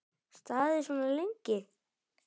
Staðið svona lengi?